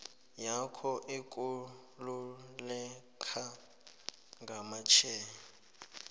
yakho ekululeka ngamashare